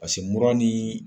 mura ni